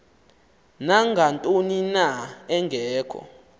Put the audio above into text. nangantoni na engekho